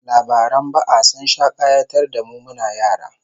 Labaran ba'a sun sha kayatar da mu muna yara